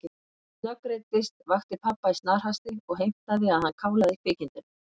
Hún snöggreiddist, vakti pabba í snarhasti og heimtaði að hann kálaði kvikindinu.